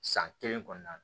San kelen kɔnɔna na